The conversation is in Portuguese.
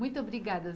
Muito obrigada